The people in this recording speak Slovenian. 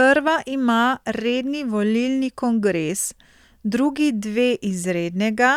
Prva ima redni volilni kongres, drugi dve izrednega,